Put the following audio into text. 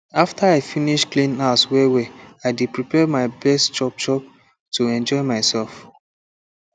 after i finish clean house wellwell i dey prepare my best chopchop to enjoy myself